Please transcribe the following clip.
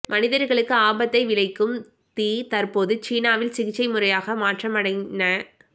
மனிதர்களுக்கு ஆபத்தை விளைக்கும் தீ தற்போது சீனாவில் சிகிச்சை முறையாக மாற்றமடைந